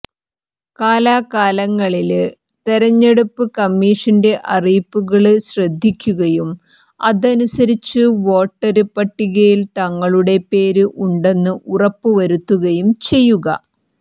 കാലാകാലങ്ങളില് തെരഞ്ഞെടുപ്പ് കമ്മീഷന്റെ അറിയിപ്പുകള് ശ്രദ്ധിക്കുകയും അതനുസരിച്ച് വോട്ടര് പട്ടികയില് തങ്ങളുടെ പേര് ഉണ്ടെന്ന് ഉറപ്പു വരുത്തുകയും ചെയ്യുക